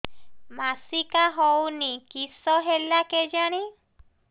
ମାସିକା ହଉନି କିଶ ହେଲା କେଜାଣି